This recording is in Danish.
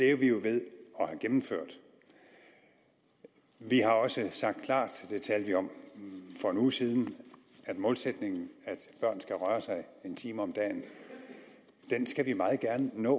er vi jo ved at have gennemført vi har også sagt klart det talte vi om for en uge siden at målsætningen at børn skal røre sig en time om dagen skal vi meget gerne nå